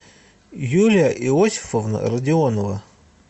юлия иосифовна родионова